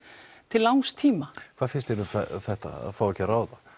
til langs tíma hvað finnst þér þetta að fá ekki að ráða